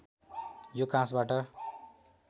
यो काँसबाट